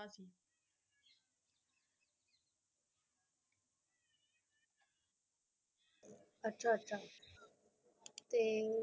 ਅਚਾ ਅਚ ਤੇ